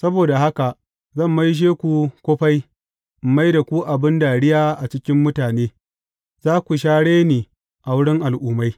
Saboda haka, zan maishe ku kufai in mai da ku abin dariya a cikin mutane, za ku sha reni a wurin al’ummai.